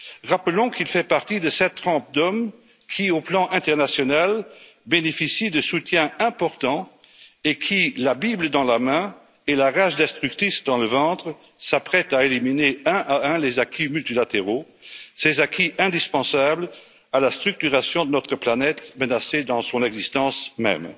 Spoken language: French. Rappelons qu'il fait partie de cette trempe d'hommes qui, au niveau international, bénéficient de soutiens importants et qui, la bible à la main et la rage destructrice au ventre, s'apprêtent à éliminer un à un les acquis multilatéraux, ces acquis indispensables à la structuration de notre planète menacée dans son existence même.